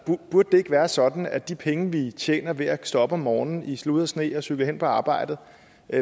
burde det ikke være sådan at de penge vi tjener ved at stå op om morgenen i slud og sne og cykle hen på arbejde